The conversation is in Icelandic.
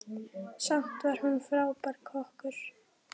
Samt var hún frábær kokkur.